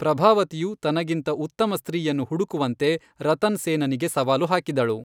ಪ್ರಭಾವತಿಯು ತನಗಿಂತ ಉತ್ತಮ ಸ್ತ್ರೀಯನ್ನು ಹುಡುಕುವಂತೆ ರತನ್ ಸೇನನಿಗೆ ಸವಾಲು ಹಾಕಿದಳು.